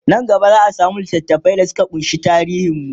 Nan gaba zaa samu littafai da Suka kunshi tarihin mu